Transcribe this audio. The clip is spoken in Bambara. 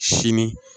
Sini